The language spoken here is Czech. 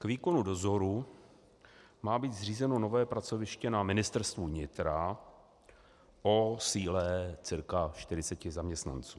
K výkonu dozoru má být zřízeno nové pracoviště na Ministerstvu vnitra o síle cca 40 zaměstnanců.